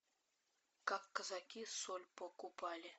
как казаки соль покупали